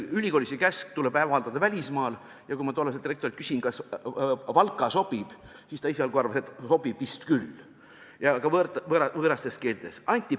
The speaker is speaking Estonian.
Ülikoolis oli käsk, et tuleb avaldada välismaal – ja kui ma tollaselt rektorilt küsisin, kas Valka sobib, siis ta esialgu arvas, et sobib vist küll – ja ka võõrastes keeltes.